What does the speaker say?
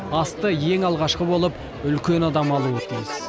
асты ең алғашқы болып үлкен адам алуы тиіс